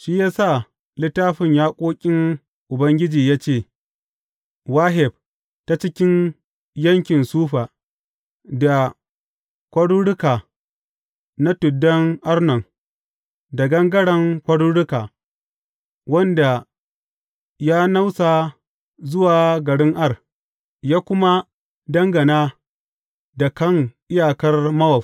Shi ya sa Littafin Yaƙoƙin Ubangiji ya ce, Waheb ta cikin yankin Sufa, da kwaruruka na tuddan Arnon, da gangaren kwaruruka, wanda ya nausa zuwa garin Ar, ya kuma dangana da kan iyakar Mowab.